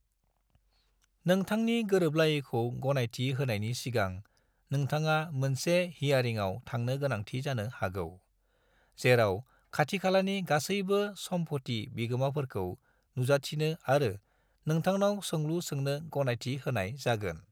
नोंथांनि गोरोबलायैखौ गनायथि होनायनि सिगां नोंथाङा मोनसे हियारिंआव थांनो गोनांथि जानो हागौ, जेराव खाथिखालानि गासैबो सम्फथि बिगोमाफोरखौ नुजाथिनो आरो नोंथांनाव सोंलु सोंनो गनायथि होनाय जागोन।